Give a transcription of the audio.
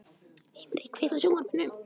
Himri, kveiktu á sjónvarpinu.